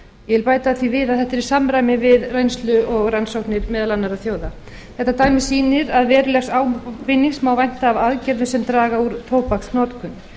ég vil bæta því við að þetta er í samræmi við reynslu og rannsóknir meðal annarra þjóða þetta dæmi sýnir að verulegs ávinnings má vænta af aðgerðum sem draga úr tóbaksnotkun